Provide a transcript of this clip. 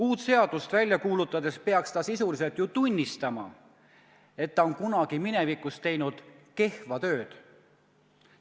Uut seadust välja kuulutades peaks ta sel juhul ju sisuliselt tunnistama, et ta on kunagi minevikus teinud kehva tööd.